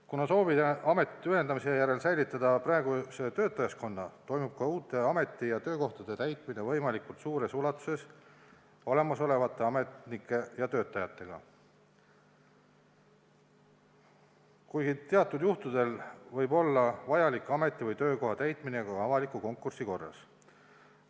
Kuna sooviti ametite ühendamise järel säilitada praegune töötajaskond, toimub uue ameti töökohtade täitmine võimalikult suures ulatuses olemasoleva personaliga, kuid teatud juhtudel võib olla vajalik töökohtade täitmine ka avaliku konkursi korras.